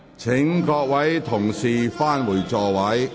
請各位議員返回座位。